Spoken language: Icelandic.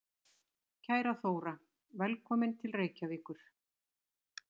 Kæra Þóra. Velkomin til Reykjavíkur.